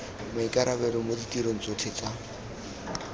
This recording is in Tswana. maikarabelo mo ditirong tsotlhe tsa